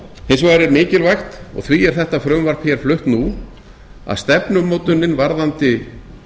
hins vegar er mikilvægt og því er er þetta frumvarp hér flutt nú að stefnumótunin varðandi